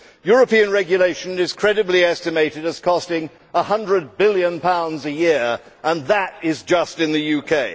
European regulation is credibly estimated at costing GBP 100 billion a year, and that is just in the UK.